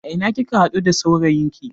A ina kika haɗu da saurayin ki?